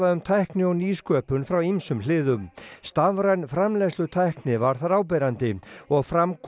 um tækni og nýsköpun frá ýmsum hliðum stafræn framleiðslutækni var þar áberandi og fram kom